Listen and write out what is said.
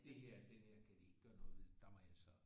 Det her denne her kan de ikke gøre noget ved der må jeg så